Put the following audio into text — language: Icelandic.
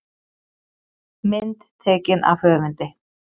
Mynd tekin af höfundi.